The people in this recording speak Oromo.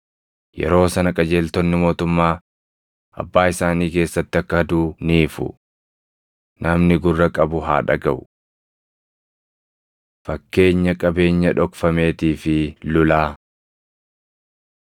Yeroo sana qajeeltonni mootummaa Abbaa isaanii keessatti akka aduu ni ifu. Namni gurra qabu haa dhagaʼu. Fakkeenya Qabeenya Dhokfameetii fi Lulaa